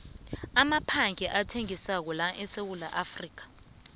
ngi amaphandle athengisako laesewula